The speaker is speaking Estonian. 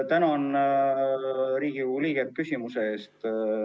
Tänan Riigikogu liiget küsimuse eest!